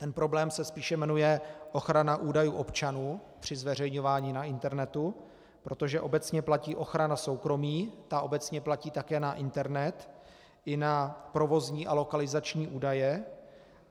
Ten problém se spíše jmenuje ochrana údajů občanů při zveřejňování na internetu, protože obecně platí ochrana soukromí, ta obecně platí také na internet i na provozní a lokalizační údaje.